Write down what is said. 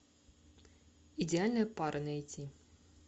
идеальная пара найти